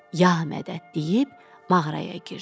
Ya mədəd deyib mağaraya girdi.